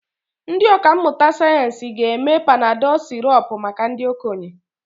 Ndị ọkà mmụta sayensị ga-eme Panadol sirop maka ndị okenye.